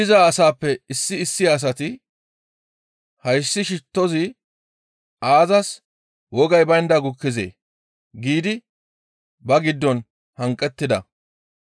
Heen diza asatappe issi issi asati, «Hayssi shittozi aazas wogay baynda gukkizee?» giidi ba giddon hanqettida.